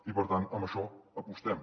i per tant per això apostem